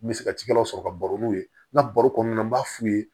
N bɛ se ka cikɛlaw sɔrɔ ka baro n'u ye n ka baro kɔnɔna na n b'a f'u ye